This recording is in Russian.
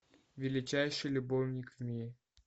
величайший любовник в мире